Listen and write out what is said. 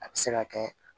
A bɛ se ka kɛ